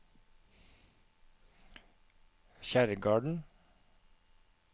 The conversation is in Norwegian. Kjerrgarden